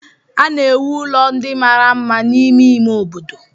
A na-ewu ụlọ ndị mara mma n'ime ime obodo.